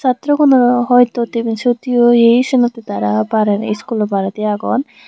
satrogunore hoi ton deney seot he oyee sanotte tara baredi skulo baredi agon.